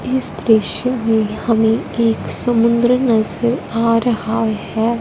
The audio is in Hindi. इस दृश्य में हमें एक समुंद्र नजर आ रहा है।